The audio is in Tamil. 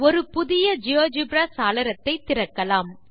ஒரு புதிய ஜியோஜெப்ரா வாவ் சாளரத்தை திறக்கலாம்